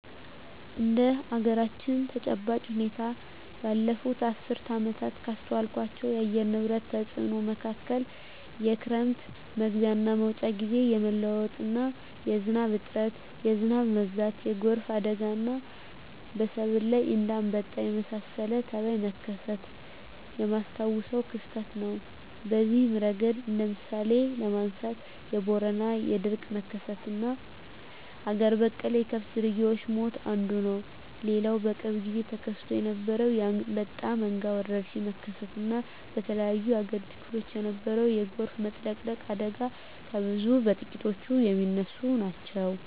እንደ አገራችን ተጨባጭ ሁኔታ ባለፋት አስርት ዓመታት ካስተዋልኳቸው የአየር ንብረት ተጽኖ መካከል የክረም መግቢያና መውጫ ግዜ የመለዋወጥ፣ የዝናብ እጥረት፣ የዝናብ መብዛት፣ የጎርፍ አደጋና በሰብል ላይ እንደ አንበጣ የመሳሰለ ተባይ መከሰት የማስታውሰው ክስተት ነው። በዚህ እረገድ እንደ ምሳሌ ለማንሳት የቦረና የድርቅ መከሰትና አገር በቀል የከብት ዝርያወች ሞት አንዱ ነው። ሌላው በቅርብ ግዜ ተከስቶ የነበረው የአንበጣ መንጋ ወረርሽኝ መከሰት እና በተለያዮ የአገሪቱ ክፍሎች የነበረው የጎርፍ መጥለቅለቅ አደጋ ከብዙ በጥቂቱ ሚነሱ ናቸው።